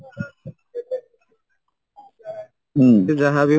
ହୁଁ ସେ ଯାହାବି